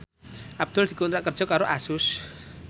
Abdul dikontrak kerja karo Asus